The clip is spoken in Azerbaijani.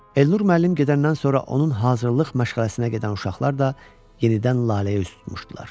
Elnur müəllim gedəndən sonra onun hazırlıq məşğələsinə gedən uşaqlar da yenidən Laləyə üz tutmuşdular.